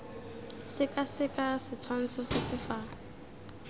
sekaseka setshwantsho se se fa